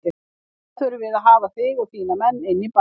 Og þá þurfum við að hafa þig og þína menn inni í bænum.